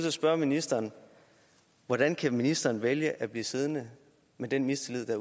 at spørge ministeren hvordan kan ministeren vælge at blive siddende med den mistillid der